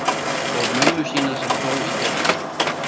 Og mömmu sína sem dó í fyrra.